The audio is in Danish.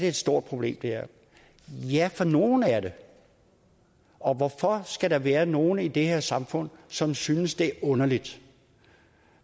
et stort problem ja for nogle er det og hvorfor skal der være nogle i det her samfund som synes det er underligt